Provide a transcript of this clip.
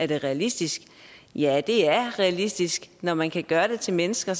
det er realistisk ja det er realistisk når man kan gøre det til mennesker